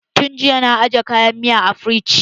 Tun jiya na aje kayan miyan a firiji.